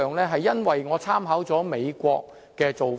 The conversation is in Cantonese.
這是因為我參考了美國的做法。